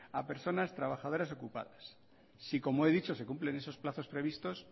a personas trabajadoras ocupadas si como he dicho se cumplen esos plazos previstos